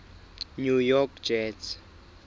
new york jets